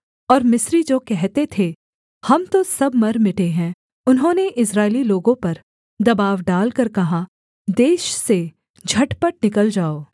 और मिस्री जो कहते थे हम तो सब मर मिटे हैं उन्होंने इस्राएली लोगों पर दबाव डालकर कहा देश से झटपट निकल जाओ